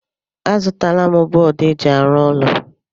Azụtala m bọọdụ eji arụ ụlọ.